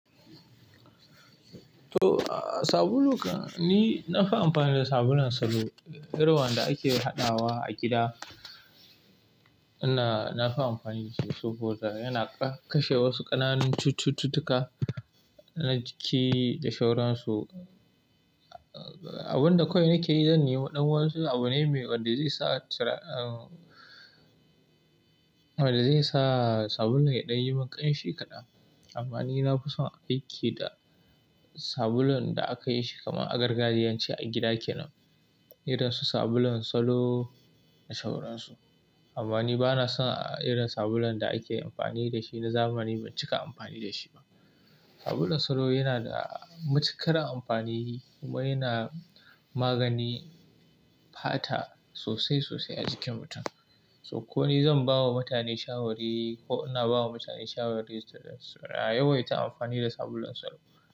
To, sabulu kam, ni na fi amfani da sabulun salo irin wanda ake haɗawa a gida. Ina, na fi amfani da shi saboda yana kashe wasu ƙananan cututtuka na jiki da shawaransu. Abin da kawai nake yi, zan nemi ɗan wayansu abu ne wadda zai sa tira--, wadda zai sa sabulun ya ɗan yi min ƙanshi kaɗan. Amma ni na fi son aiki da sabulun da aka yi shi kamar agargajiyance, a gida kenan. Irin su sabulun salo da sauransu. Amma ni ba na son irin sabulun da ake amfani da shi na zamani, ban cika amfani da shi ba. Sabulun salo yana da matuƙar amfani kuma yana magani fata sosai sosai a jikin mutum. To ko ni zan bawa mutane shawari, ko ina bawa mutane shawari, a yawaita amfani da sabulun salo.